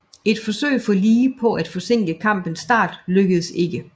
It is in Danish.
Et forsøg fra Lee på at forsinke kampens start lykkedes ikke